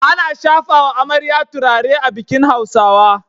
Ana shafawa amarya turare a bikin Hausawa